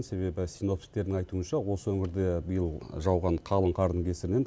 себебі синоптиктердің айтуынша осы өңірде биыл жауған қалың қардың кесірінен